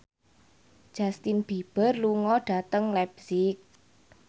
Justin Beiber lunga dhateng leipzig